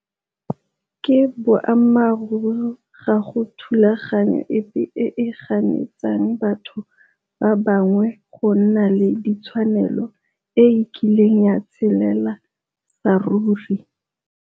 Ke boammaruri ga go thulaganyo epe e e ganetsang batho ba bangwe go nna le ditshwanelo e e kileng ya tshelela saruri.